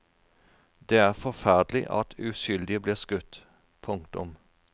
Det er forferdelig at uskyldige blir skutt. punktum